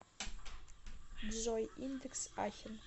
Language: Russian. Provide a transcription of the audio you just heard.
джой индекс ахен